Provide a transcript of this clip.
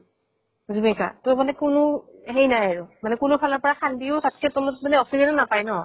ত মানে কোনো সেই নাই আৰু। মানে কোনো ফালৰ পৰা খান্দিও তাত্কে তলত মানে oxygen এ নাপায় ন।